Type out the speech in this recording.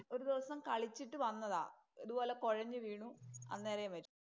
ഒരു ദിവസം കളിച്ചിട്ട് വന്നതാ. ഇതുപോലെ കൊഴഞ്ഞുവീണു. അന്നേരെ മരിച്ചു.